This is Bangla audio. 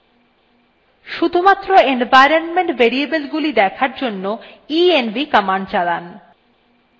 শুধুমাত্র environment variableগুলি দেখার জন্য env command চালান